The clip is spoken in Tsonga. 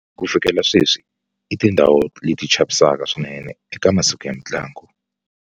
Ku fikela sweswi i tindhawu leti chavisaka swinene eka masiku ya mintlangu.